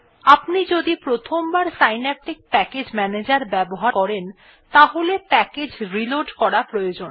আপনি যদি প্রথমবার সিন্যাপটিক প্যাকেজ ম্যানেজার ব্যবহার করেন তাহলে প্যাকেজ রিলোড করা প্রয়োজন